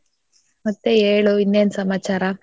ಮತ್ತೆ ಹೇಳು ಇನ್ನೇನ್ ಸಮಾಚಾರ?